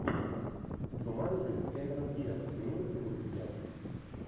джуманджи кэмерон диаз имеется ли у тебя